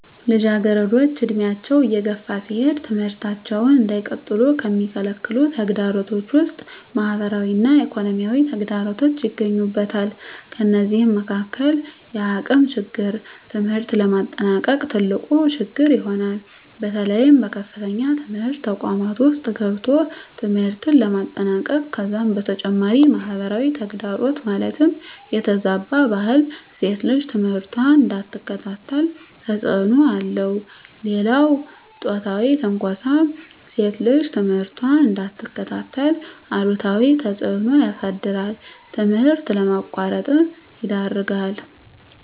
ልጃገረዶች ዕድሜያቸው እየገፋ ሲሄድ ትምህርታቸውን እንዳይቀጥሉ ከሚከለክሉ ተግዳሮቶች ውስጥ ማህበራዊ እና ኢኮኖሚያዊ ተግዳሮቶች ይገኙበታል። ከነዚህም መካካል የአቅም ችግር ትምህርት ለማጠናቀቅ ትልቁ ችግር ይሆናል። በተለይ በከፍተኛ ትምህርት ተቋማት ውስጥ ገብቶ ትምህርትን ለማጠናቀቅ ከዛም በተጨማሪ ማህበራዊ ተግዳሮት ማለትም የተዛባ ባህል ሴት ልጅ ትምህርቷን እንዳትከታተል ተፅዕኖ አለው። ሌላው ፆታዊ ትንኳሳም ሴት ልጅ ትምህርቷን እንዳትከታተል አሉታዊ ተፅዕኖ ያሳድራል ትምህርት ለማቋረጥ ይዳርጋል።